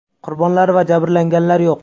Qurbonlar va jabrlanganlar yo‘q.